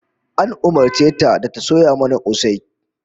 An umurce ta da ta soya mana kosai